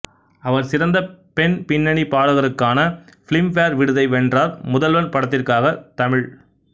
அவர் சிறந்த பெண் பின்னணி பாடகருக்கான பிலிம்பேர் விருதை வென்றார் முதல்வன் படத்திற்காக தமிழ்